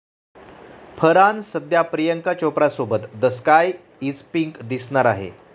फरहान सध्या प्रियंका चोप्रासोबत the sky is pink दिसणार आहे.